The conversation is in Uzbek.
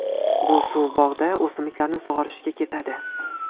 Bu suv bog‘da o‘simliklarni sug‘orishga ketadi.